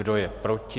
Kdo je proti?